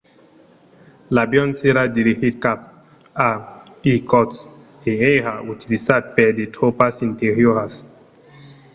l'avion s'èra dirigit cap a irkotsk e èra utilizat per de tropas interioras